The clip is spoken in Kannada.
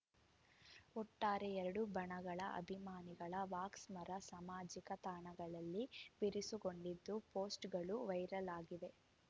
ಒಟ್ಟಾರೆ ಎರಡು ಬಣಗಳ ಅಭಿಮಾನಿಗಳ ವಾಕ್ಸಮರ ಸಾಮಾಜಿಕ ತಾಣಗಳಲ್ಲಿ ಬಿರುಸುಗೊಂಡಿದ್ದು ಪೋಸ್ಟ್‌ಗಳು ವೈರಲ್‌ ಆಗಿವೆ